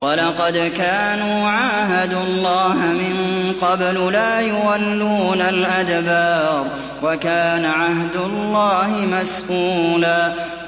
وَلَقَدْ كَانُوا عَاهَدُوا اللَّهَ مِن قَبْلُ لَا يُوَلُّونَ الْأَدْبَارَ ۚ وَكَانَ عَهْدُ اللَّهِ مَسْئُولًا